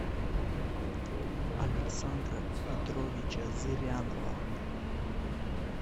александра петровича зырянова